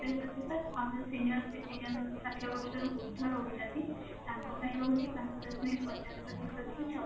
ପ୍ରତିଶତ ଆଉ senior citizen ଷାଠିଏ ବର୍ଷ ରୁ ଉର୍ଦ୍ଧ ରହୁଛନ୍ତି ତାଙ୍କ ପାଇଁ ରହୁଛି ପାଞ୍ଚ ଦଶମିକ ପଚାଶ ପ୍ରତିଶତ ରୁ ଛ ପ୍ରତିଶତ